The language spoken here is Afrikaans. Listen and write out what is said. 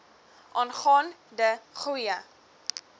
aangaan de goeie